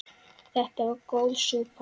Þetta var góð súpa.